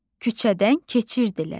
Küçədən keçirdilər.